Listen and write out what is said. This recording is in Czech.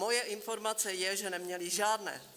Moje informace je, že neměli žádné.